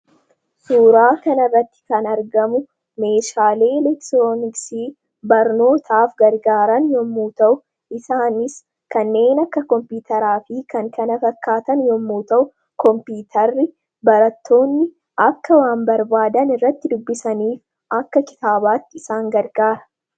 Suuraa kanarratti kan argamu meeshaalee elektirooniksii barnootaaf gargaaran yommuu ta'u, isaanis kanneen akka Kompiitaraa fi kan kana fakkaatan yommuu ta'u, kompiitarri barattoonni akka waan barbaadan irratti dubbisaniif akka kitaabaatti isaan gargaara.